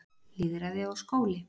Lýðræði og skóli